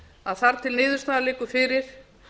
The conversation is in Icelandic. að þar til niðurstaðan liggur fyrir